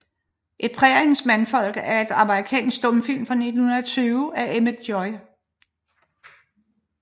Et Præriens Mandfolk er en amerikansk stumfilm fra 1920 af Emmett J